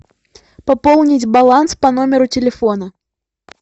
пополнить баланс по номеру телефона